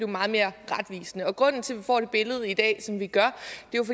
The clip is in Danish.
meget mere retvisende grunden til at vi får det billede i dag som vi gør